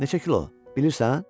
Neçə kilo bilirsən?